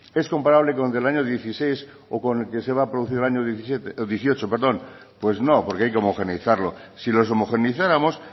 es comparable con que el año dieciséis o con el que se va a producir el año dieciocho pues no porque hay que homogeneizarlo si los homogeneizáramos